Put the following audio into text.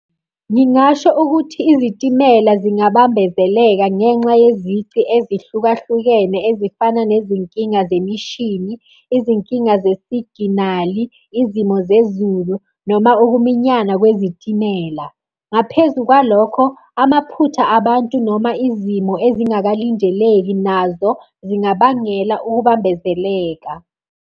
Ngingasho ukuthi izitimela zingabambezeleka ngenxa yezici ezihlukahlukene ezifana nezinkinga zemishini, izinkinga zesiginali, izimo zezulu noma ukuminyana kwezitimela. Ngaphezu kwalokho, amaphutha abantu noma izimo ezingakalindeleki nazo zingabangela ukubambezeleka.